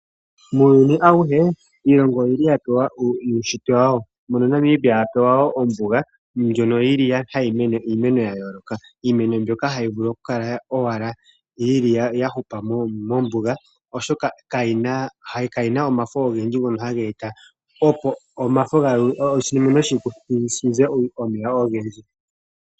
Muuyuni awuhe iilongo oyi li ya pewa uushitwe wawo, mono Namibia apewa woo ombuga, ndjono yili hayi mene iimeno ya yooloka. Iimeno mbyoka ha yi vulu owala oku kala ya hupa mombuga oshoka kayi na omafo ogendji ngono ha ga eta opo oshimeno shi ze omeya ogendji.